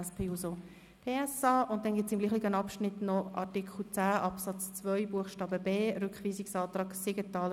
Damit kommen wir zu den drei Anträgen, die zu diesem Block vorliegen.